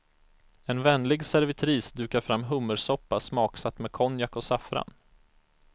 En vänlig servitris dukar fram hummersoppa smaksatt med konjak och saffran.